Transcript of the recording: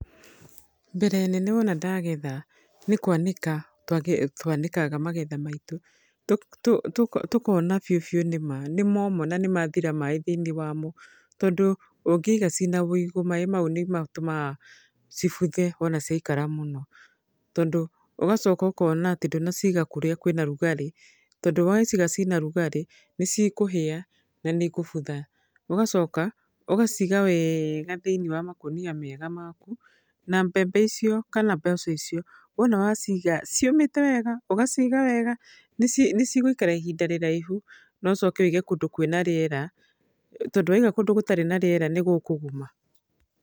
Mbere nene wona ndagetha, nĩ kwanĩka twanĩkaga magetha maitũ. Tũkona biũ biũ nĩma nĩ moma na nĩ mathira maĩ thĩiniĩ wamo. Tondũ ũngĩiga ciĩna wĩigũ, maĩ mau nĩ matũmaga cibuthe wona ciakara mũno. Tondũ, ũgacoka ũkona atĩ ndũnaciga kũrĩa kwĩna rugarĩ, tondũ waciga cina rugarĩ, nĩ ci kũhĩa, na nĩ ikũbutha. Ũgacoka, ũgaciga wega thĩiniĩ wa makũnia mega maku, na mbembe icio kana mboco icio, wona waciga ciũmĩte wega, ũgaciga wega, nĩ nĩ cigũikara ihinda rĩraihu na ũcoke wĩige kũndũ kwĩna rĩera. Tondũ waiga kũndũ gũtarĩ na rĩera nĩ gũkũguma.